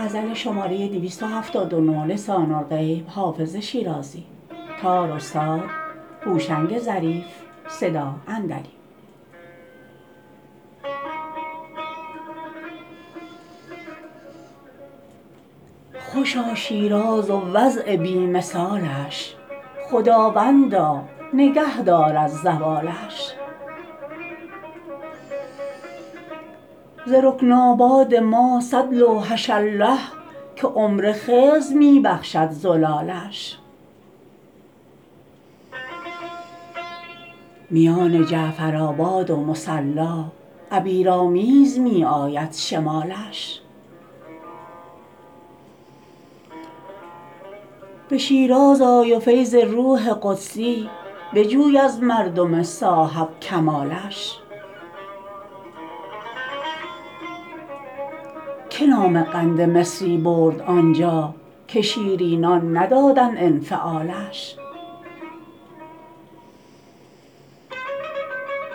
خوشا شیراز و وضع بی مثالش خداوندا نگه دار از زوالش ز رکن آباد ما صد لوحش الله که عمر خضر می بخشد زلالش میان جعفرآباد و مصلا عبیرآمیز می آید شمالش به شیراز آی و فیض روح قدسی بجوی از مردم صاحب کمالش که نام قند مصری برد آنجا که شیرینان ندادند انفعالش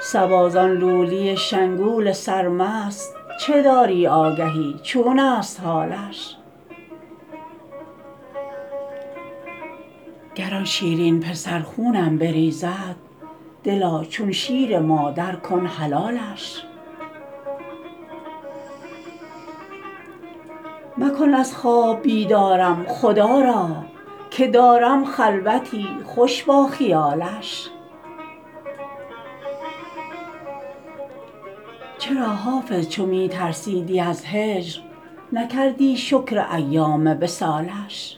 صبا زان لولی شنگول سرمست چه داری آگهی چون است حالش گر آن شیرین پسر خونم بریزد دلا چون شیر مادر کن حلالش مکن از خواب بیدارم خدا را که دارم خلوتی خوش با خیالش چرا حافظ چو می ترسیدی از هجر نکردی شکر ایام وصالش